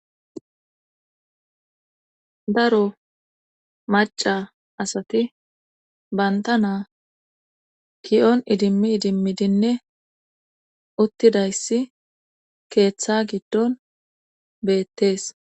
Daro maca asati banta naa kiyon idimmi idimmidinne uttidayssi keeththa giddon beettees.